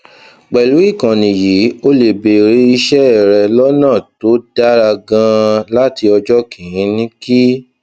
pèlú ìkànnì yìí o lè bèrè iṣé rẹ lónà tó dára ganan láti ọjó kìíní kí